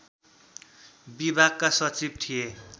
विभागका सचिव थिए